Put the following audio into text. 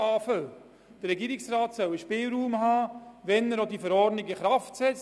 Der Regierungsrat soll den nötigen Spielraum bekommen, selber über das Inkrafttreten der Verordnung zu entscheiden.